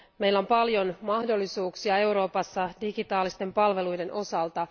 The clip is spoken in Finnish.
Meillä on paljon mahdollisuuksia Euroopassa digitaalisten palveluiden osalta.